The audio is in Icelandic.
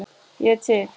Ég er til